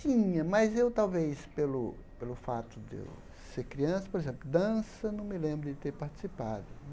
Tinha, mas eu talvez, pelo pelo fato de eu ser criança, por exemplo, dança, não me lembro de ter participado.